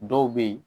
Dɔw bɛ yen